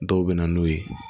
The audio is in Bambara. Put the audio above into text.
Dɔw bɛ na n'u ye